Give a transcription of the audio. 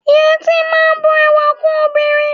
Yẹtí máa n bù ẹwà kún obìnrin.